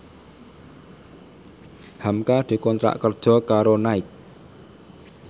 hamka dikontrak kerja karo Nike